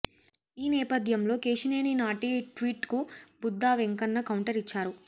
ఈ నేపథ్యంలో కేశినేని నాని ట్వీట్ కు బుద్ధా వెంకన్న కౌంటర్ ఇచ్చారు